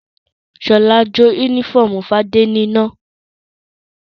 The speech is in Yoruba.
Ṣọlá jó únífọ́ọ́mù Fadé níná.